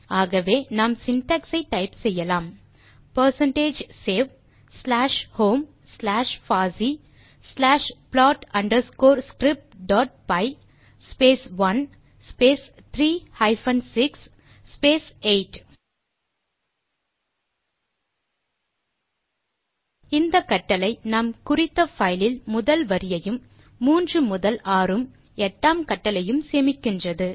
ஆகவே நாம் சின்டாக்ஸ் ஐ டைப் செய்யலாம் percentage save slash home slash பாசி slash plot underscore script dot py space 1 space 3 hyphen 6 space 8 இந்த கட்டளை நாம் குறித்த பைல் இல் முதல் வரியையும் மூன்று முதல் ஆறும் எட்டாம் கட்டளையும் சேமிக்கின்றது